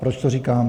Proč to říkám?